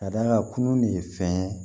Ka d'a kan kunun de ye fɛn ye